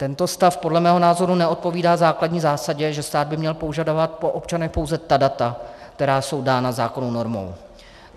Tento stav podle mého názoru neodpovídá základní zásadě, že stát by měl požadovat po občanech pouze ta data, která jsou dána zákonnou normou.